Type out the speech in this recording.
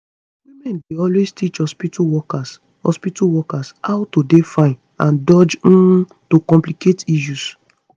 women dey always teach hospitu workers hospitu workers how to dey fine and dodge um to complicate issues